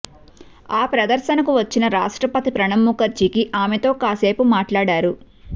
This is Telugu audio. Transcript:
ఆ ప్రదర్శనకు వచ్చిన రాష్ట్రపతి ప్రణబ్ ముఖర్జీకి ఆమెతో కాసేపు మాట్లాడారు